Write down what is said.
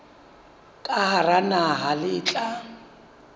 ka hara naha le tla